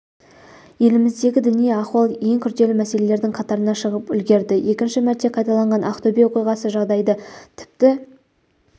еліміздегі діни ахуал ең күрделі мәселелердің қатарына шығып үлгерді екінші мәрте қайталанған ақтөбе оқиғасы жағдайды тіпті